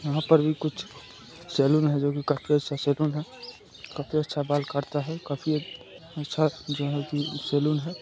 यहां पर भी कुछ सैलून हैजो काफी अच्छा सैलून है काफी अच्छा बाल काटता है काफीअच्छा जो की सैलून है।